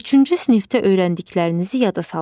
Üçüncü sinifdə öyrəndiklərinizi yada salın.